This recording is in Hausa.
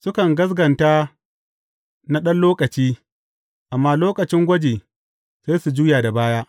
Sukan gaskata na ɗan lokaci, amma lokacin gwaji, sai su ja da baya.